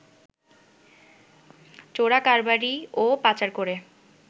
চোরাকারবারি ও পাচার করে